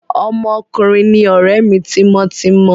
Ọmọ òrukàn ni ọ̀rẹ́ mi tímọ́tímọ́.